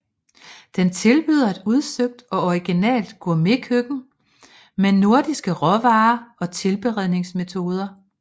Den tilbyder et udsøgt og originalt gourmetkøkken med nordiske råvarer og tilberedningsmetoder